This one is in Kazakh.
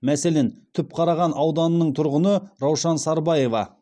мәселен түпқараған ауданының тұрғыны раушан сарбаева